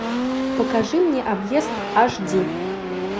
покажи мне объезд аш ди